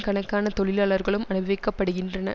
கணக்கான தொழிலாளர்களும் அனுபவிக்கப்படுகின்றன